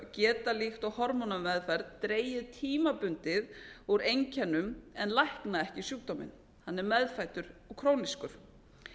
geta líkt og hormónameðferð dregið tímabundið úr einkennum en lækna ekki sjúkdóminn hann er meðfæddur og krónískur